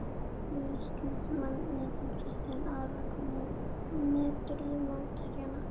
Leiknismanninn hann Kristján Ara Hvernig meturðu mótherjana?